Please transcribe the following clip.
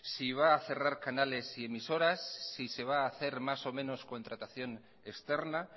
va a cerrar canales y emisoras se va a hacer más o menos contratación externa